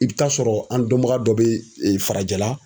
I bɛ taa sɔrɔ an dɔnbaga dɔ bɛ farajɛla